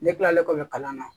Ne kilalen kɔfɛ kalan na